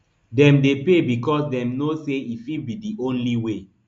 dem dey pay becos dem know say e fit be di only way